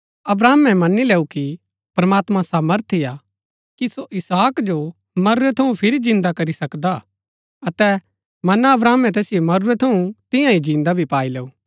अब्राहमे मनी लैऊ कि प्रमात्मां सामर्थी हा कि सो इसहाक जो मरुरै थऊँ फिरी जिन्दा करी सकदा हा अतै मना अब्राहमे तैसिओ मरूरै थऊँ तियां ही जिन्दा भी पाई लैऊँ